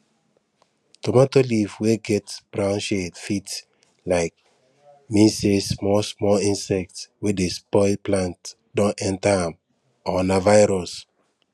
tomato leaf wey get brown shade fit um mean say small small insect wey dey spoil plant don enter am or na virus